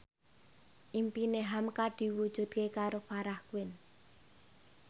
impine hamka diwujudke karo Farah Quinn